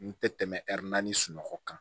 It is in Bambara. N tɛ tɛmɛ naani sunɔgɔ kan